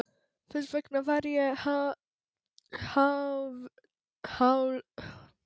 Þess vegna var ég hálfringluð fyrsta tímann í Skipasundi.